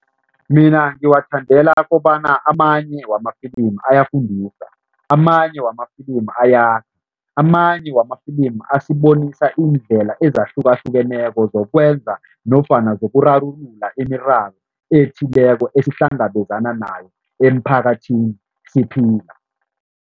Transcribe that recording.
Mina ngiwathandela kobana amanye wamafilimu ayafundisa, amanye wamafilimu ayakha, amanye wamafilimu asibonisa iindlela ezahlukahlukeneko zokwenza nofana zokurarulula imiraro ethileko esihlangabezana nayo emphakathini, siphila.